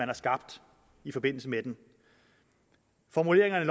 var skabt i forbindelse med den formuleringerne